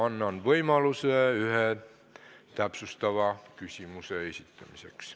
Annan võimaluse iga põhiküsimuse puhul esitada üks täpsustav küsimus.